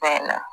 Fɛn na